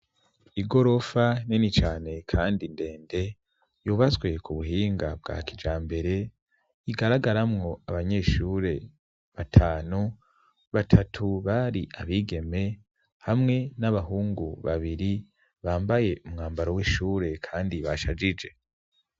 Igorofa nini cane kandi ndende, yubatswe ku buhinga bwa kijambere, igaragaramwo abanyeshure batanu batatu bari abigeme hamwe n'abahungu babiri bambaye umwambaro w'ishure kandi bashajije.